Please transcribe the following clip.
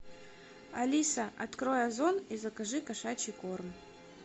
алиса открой озон и закажи кошачий корм